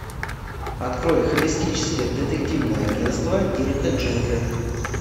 открой холистическое детективное агентство дирка джентли